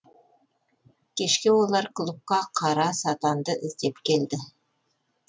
кешке олар клубқа қара сатанды іздеп келді